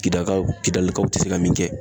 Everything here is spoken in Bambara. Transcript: Kidaka kidalikaw te se ka min kɛ.